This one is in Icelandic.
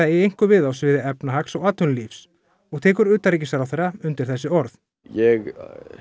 eigi einkum við á sviði efnahags og atvinnulífs og tekur utanríkisráðherra undir þessi orð ég